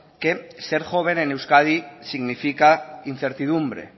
que ser joven en euskadi significa incertidumbre